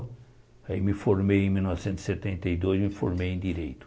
Aí me formei em mil novecentos e setenta e dois, me formei em Direito.